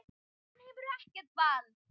Hann hefur ekkert vald.